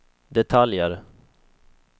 detaljer